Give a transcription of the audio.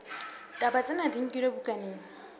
ditaba tsena di nkilwe bukaneng